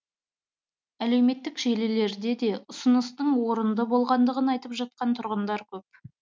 әлеуметтік желілерде де ұсыныстың орынды болғандығын айтып жатқан тұрғындар көп